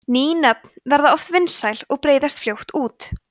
ný nöfn verða oft vinsæl og breiðast fljótt út